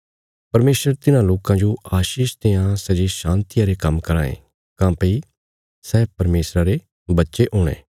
परमेशर तिन्हां लोकां जो आशीष देआं सै जे शान्तिया रे काम्म कराँ ये काँह्भई सै परमेशरा रे बच्चे हुणे